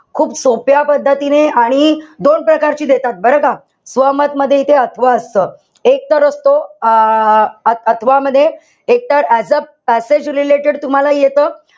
खूप सोप्या पद्धतीने आणि दोन प्रकारची देतात बरं का? स्वमत मध्ये इथे अथवा असत. एकतर असतो अं अथवा मध्ये एकतर as a passage related तुम्हाला येत.